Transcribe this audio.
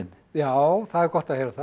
já það er gott að heyra það